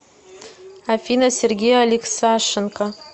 афина сергей алексашенко